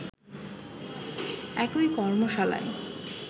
একই কর্মশালায়